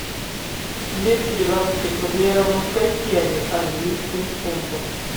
двести белорусских рублей равно скольки английским фунтам